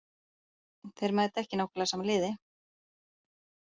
Þeir mæta ekki nákvæmlega sama liði.